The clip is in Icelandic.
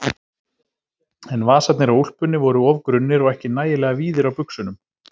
En vasarnir á úlpunni voru of grunnir og ekki nægilega víðir á buxunum.